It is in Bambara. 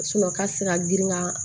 ka se ka girin ka